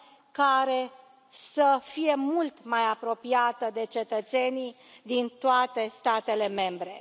care să fie mult mai apropiată de cetățenii din toate statele membre.